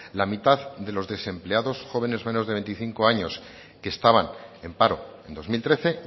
la mitad de los desempleados jóvenes menores de veinticinco años que estaban en paro en dos mil trece